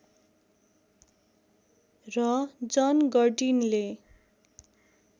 र जन गर्टिनले